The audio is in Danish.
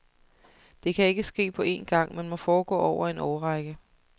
Det kan ikke ske på en gang, men må foregå over en årrække.